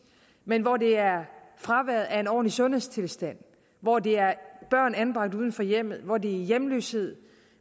men hvor det er fraværet af en ordentlig sundhedstilstand hvor det er børn anbragt uden for hjemmet hvor det er hjemløshed